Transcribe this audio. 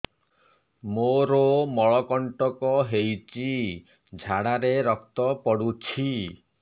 ମୋରୋ ମଳକଣ୍ଟକ ହେଇଚି ଝାଡ଼ାରେ ରକ୍ତ ପଡୁଛି